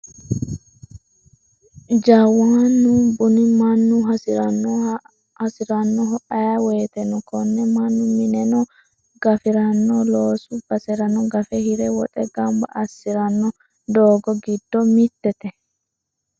Jawanu buni mannu hasiranoho ayee woyteno kone mannu mineno gafirano loosu baserano gafe hire woxe gamba assirano doogo giddo mittete.